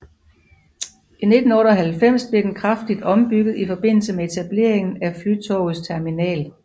I 1998 blev den kraftigt ombygget i forbindelse med etableringen af Flytogets terminal